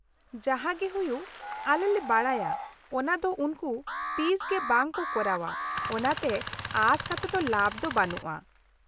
-ᱡᱟᱦᱟᱸᱜᱮ ᱦᱩᱭᱩᱜ, ᱟᱞᱮᱞᱮ ᱵᱟᱰᱟᱭᱟ ᱚᱱᱟ ᱫᱚ ᱩᱱᱠᱩ ᱛᱤᱥᱜᱮ ᱵᱟᱝᱠᱚ ᱠᱚᱨᱟᱣᱼᱟ, ᱚᱱᱟᱛᱮ ᱟᱥ ᱠᱟᱛᱮᱫ ᱞᱟᱵᱷ ᱫᱚ ᱵᱟᱹᱱᱩᱜᱼᱟ ᱾